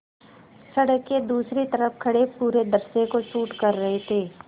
सड़क के दूसरी तरफ़ खड़े पूरे दृश्य को शूट कर रहे थे